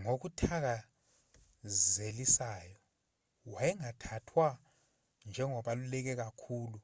ngokuthakazelisayo wayengathathwa njengobaluleke kakhulu